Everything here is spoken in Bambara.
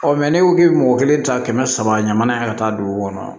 n'i ko k'i bɛ mɔgɔ kelen ta kɛmɛ saba ɲamana yan ka taa dugu kɔnɔ